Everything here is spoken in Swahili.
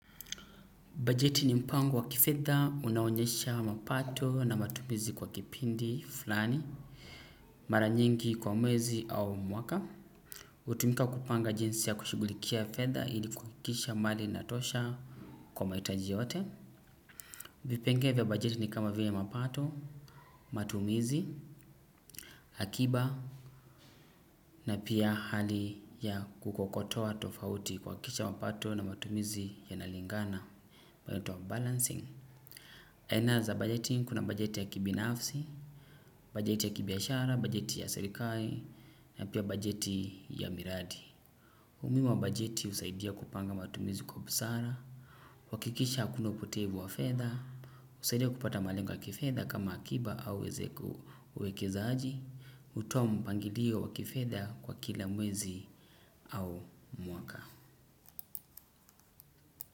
Bajeti ni mpango wa kifedha, unaonyesha mapato na matumizi kwa kipindi flani, mara nyingi kwa mwezi au mwaka. Utumika kupanga jinsi ya kushugulikia fedha ili kuakisha mali inatosha kwa maitaji yote. Vipengee vya bajeti ni kama vile mapato, matumizi, hakiba na pia hali ya kukokotoa tofauti kwakisha mapato na matumizi yanalingana. Inaitwa balancing. Aina za budgeting kuna budget ya kibinafsi Budget ya kibiashara, budget ya serikai na pia budget ya miradi. Umuhimu wa bujeti husaidia kupanga matumizi kwa busara kuhakikisha hakuna upotevu wa fedha husaidia kupata malengo wa kifedha ama akiba au uwekezaaji hutoa mpangilio wa kifedha kwa kila mwezi au mwaka.